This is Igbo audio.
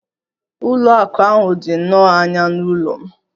Ụlọ akụ ahụ dị nnọọ anya n'ụlọ m.